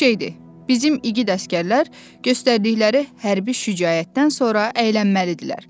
Boş şeydir, bizim igid əsgərlər göstərdikləri hərbi şücaətdən sonra əylənməlidirlər.